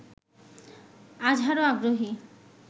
আজহারও আগ্রহী